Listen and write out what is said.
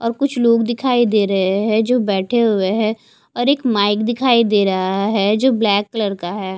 कुछ लोग दिखाई दे रहे हैं जो बैठे हुए हैं और एक माइक दिखाई दे रहा है जो ब्लैक कलर का है।